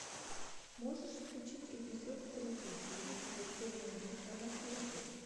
можешь включить эпизод тридцать девять смертельная битва наследие